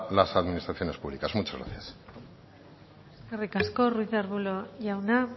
las administraciones públicas muchas gracias eskerrik asko ruíz de arbulo jauna